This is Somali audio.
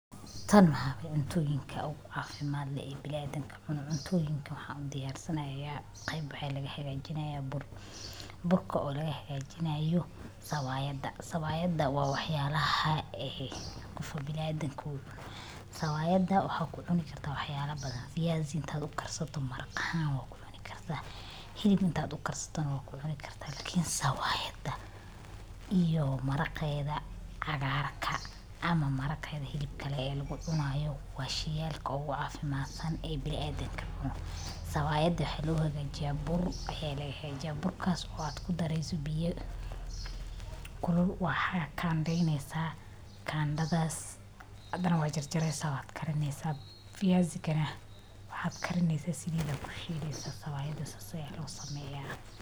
Tan maxa waye cuntooyinka ogu cafimat leh ee biniadam ka cuno .cuntooyinka waxaan u diyaarsanayaa qeyb waxa laga hagaajinayaa bur. burka oo leh agaajinayo sawaayada. sawaayada waa waxyaalaha ee qofka biniadam ku .sawaayada waxa ku cuni karta waxya la badan viazi iinta uu karsato maaraq aahn waa kucuni karta. Hilib inta u karsato neh waad ku cuni karta lain sawaayada iyo maraqeda ,cagarka ama mareqeda hilibka leh ee lugu cunayo wa shey yalka ogu cafimat san ee biniadam ka cuno .sawaayada waxa lugu hagaajiya bur ee laga hagajiya .burkas oo Kudareyso biya kulul waxa kandeyneysa. Kandathas hadana wad jar jareysa wad karineysa viazi ga neh waxa karineysa saliida aya kushileysa sawaayada sas aya lo sameya.